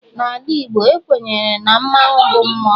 N'ala Igbo, ekwenyere na mmanwu bụ mmụọ.